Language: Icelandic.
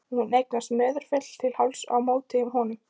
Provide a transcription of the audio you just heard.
Og hún eignaðist Möðrufell til hálfs á móti honum.